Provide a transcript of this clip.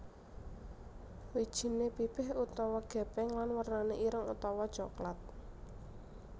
Wijiné pipih utawa gépeng lan wernané ireng utawa coklat